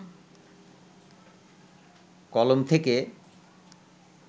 কলম থেকে